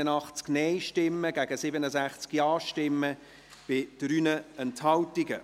Dieser Ordnungsantrag ist abgelehnt, mit 81 Nein- zu 67 Ja-Stimmen bei 3 Enthaltungen.